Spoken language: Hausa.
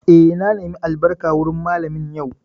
Eh, na nemi albarka wurin Mallamin yau